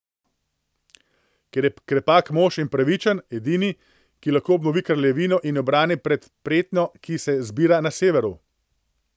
Ker je krepak mož in pravičen, edini, ki lahko obnovi kraljevino in jo obrani pred pretnjo, ki se zbira na severu.